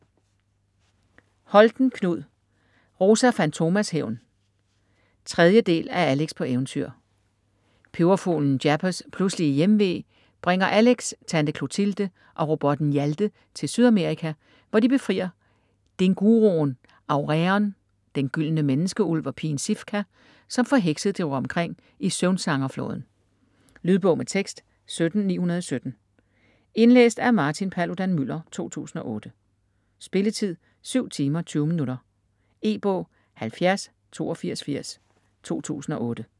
Holten, Knud: Rosa Fantomas hævn 3. del af Alex på eventyr. Peberfuglen Jappers pludselige hjemve bringer Alex, tante Clothilde og robotten Hjalte til Sydamerika, hvor de befrier dinguroen Aureon, den gyldne menneskeulv, og pigen Sifka, som forhekset driver omkring i Søvnsanger-Floden. Lydbog med tekst 17917 Indlæst af Martin Paludan-Müller, 2008. Spilletid: 7 timer, 20 minutter. E-bog 708280 2008.